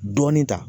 Dɔɔnin ta